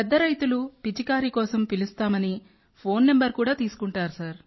పెద్ద రైతులు పిచికారీ కోసం పిలుస్తామని నంబర్ కూడా తీసుకుంటారు